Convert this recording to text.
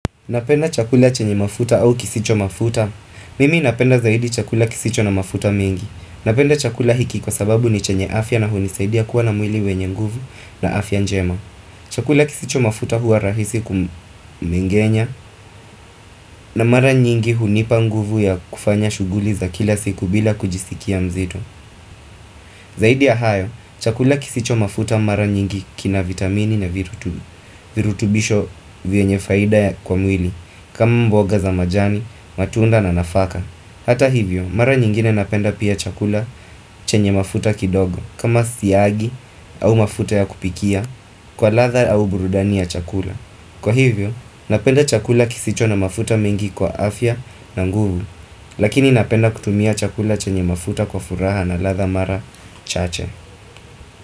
Napenda chakula chenye mafuta au kisicho mafuta. Mimi napenda zaidi chakula kisicho na mafuta mengi. Napenda chakula hiki kwa sababu ni chenye afya na hunisaidi ya kuwa na mwili wenye nguvu na afya njema. Chakula kisicho mafuta huwa rahisi kumengenya na mara nyingi hunipa nguvu ya kufanya shughuli za kila siku bila kujisikia mzito. Zaidi ya hayo, chakula kisicho mafuta mara nyingi kina vitamini na virutubishi virutubisho vyenye faida kwa mwili kama mboga za majani, matunda na nafaka Hata hivyo, mara nyingine napenda pia chakula chenye mafuta kidogo kama siagi au mafuta ya kupikia kwa ladha au burudani ya chakula Kwa hivyo, napenda chakula kisicho na mafuta mengi kwa afya na nguvu Lakini napenda kutumia chakula chenye mafuta kwa furaha na ladha mara chache.